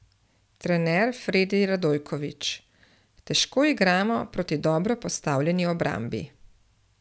Trener Fredi Radojković: 'Težko igramo proti dobro postavljeni obrambi.